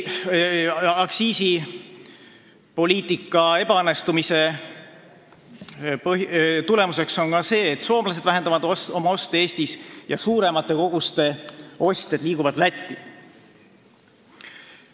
Aktsiisipoliitika ebaõnnestumise tulemus on ka see, et soomlased vähendavad oma oste Eestis ja suuremate koguste ostjad liiguvad Lätti.